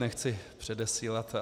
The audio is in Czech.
Nechci předesílat.